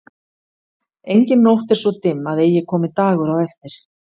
Engin nótt er svo dimm að eigi komi dagur á eftir.